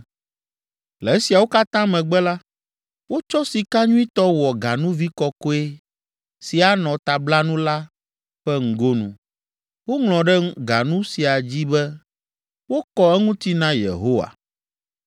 Le esiawo katã megbe la, wotsɔ sika nyuitɔ wɔ ganuvi kɔkɔe si anɔ tablanu la ƒe ŋgonu. Woŋlɔ ɖe ganu sia dzi be, wokɔ eŋuti na Yehowa.